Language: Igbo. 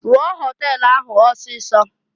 Rụọ họtel ahụ ọsịịsọ!